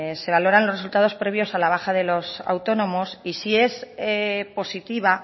se valoran los resultados previos a la baja de los autónomos y si es positiva